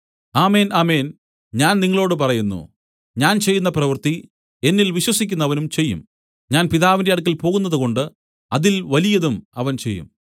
ആമേൻ ആമേൻ ഞാൻ നിങ്ങളോടു പറയുന്നു ഞാൻ ചെയ്യുന്ന പ്രവൃത്തി എന്നിൽ വിശ്വസിക്കുന്നവനും ചെയ്യും ഞാൻ പിതാവിന്റെ അടുക്കൽ പോകുന്നതുകൊണ്ട് അതിൽ വലിയതും അവൻ ചെയ്യും